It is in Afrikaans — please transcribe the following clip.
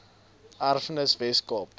erfenis wes kaap